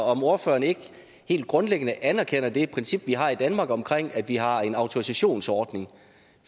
om ordføreren ikke helt grundlæggende anerkender det princip vi har i danmark om at vi har en autorisationsordning